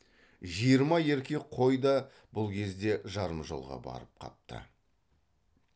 жиырма еркек қой да бұл кезде жарым жолға барып қапты